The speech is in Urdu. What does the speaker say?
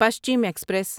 پشچم ایکسپریس